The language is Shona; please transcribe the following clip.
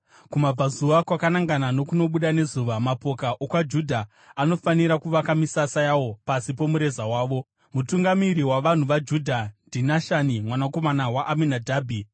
Kumabvazuva, kwakanangana nokunobuda nezuva, mapoka okwaJudha anofanira kuvaka misasa yawo pasi pomureza wavo. Mutungamiri wavanhu vaJudha ndiNashani mwanakomana waAminadhabhi.